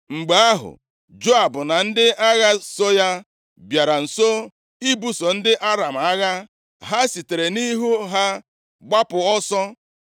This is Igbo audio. Mgbe ahụ, Joab na ndị agha so ya bịara nso ibuso ndị Aram agha, ha sitere nʼihu ha gbapụ ọsọ.